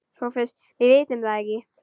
SOPHUS: Við vitum það ekki.